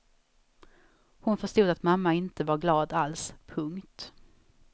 Hon förstod att mamma inte var glad alls. punkt